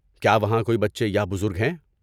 کیا وہاں کوئی بچے یا بزرگ ہیں؟